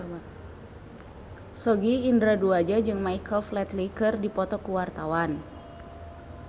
Sogi Indra Duaja jeung Michael Flatley keur dipoto ku wartawan